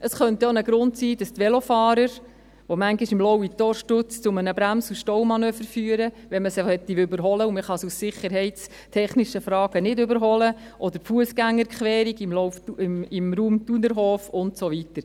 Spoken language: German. Es könnte auch ein Grund sein, dass die Velofahrer, die manchmal am Lauitor-Stutz zu einem Brems- und Staumanöver führen, wenn man sie überholen möchte und man sie aus sicherheitstechnischen Fragen nicht überholen kann, oder die Fussgängerquerung im Raum Thunerhof und so weiter …